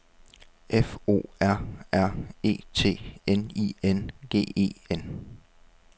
F O R R E T N I N G E N